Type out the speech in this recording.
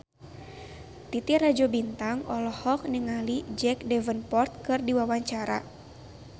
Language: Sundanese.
Titi Rajo Bintang olohok ningali Jack Davenport keur diwawancara